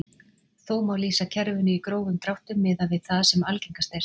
Þó má lýsa kerfinu í grófum dráttum miðað við það sem algengast er.